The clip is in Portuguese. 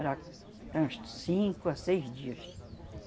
Era, era uns cinco, seis dias.